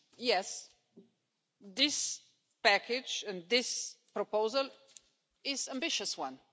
Yes, this package, this proposal is an ambitious one.